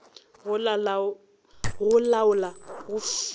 go laola go fiwa ga